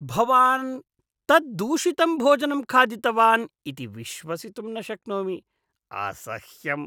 भवान् तत् दूषितं भोजनं खादितवान् इति विश्वसितुं न शक्नोमि। असह्यम्!